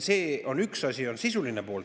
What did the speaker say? See on üks asi, sisuline pool.